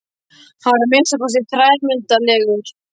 Hann var að minnsta kosti þrælmyndarlegur.